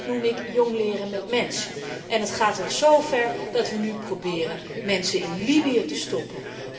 Dat noem ik jongleren met mensen. Het gaat al zover dat wij nu proberen mensen in Libië te stoppen.